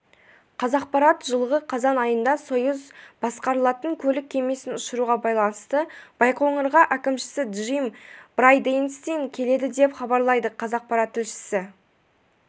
қазақпарат жылғы қазан айында союз басқарылатын көлік кемесін ұшыруға байланысты байқоңырға әкімшісі джим брайденстайн келеді деп хабарлайды қазақпарат тілшісі